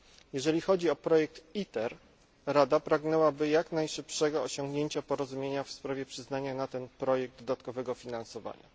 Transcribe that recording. Jeżeli chodzi o projekt ITER, Rada pragnęłaby jak najszybszego osiągnięcia porozumienia w sprawie przyznania na ten projekt dodatkowego finansowania.